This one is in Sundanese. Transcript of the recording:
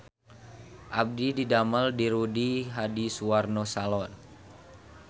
Abdi didamel di Rudy Hadisuwarno Salon